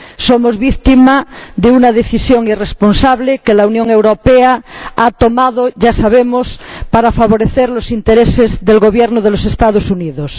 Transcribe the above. Somos víctima de una decisión irresponsable que la Unión Europea ha tomado, ya sabemos, para favorecer los intereses del Gobierno de los Estados Unidos.